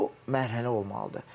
O mərhələ olmalıdır.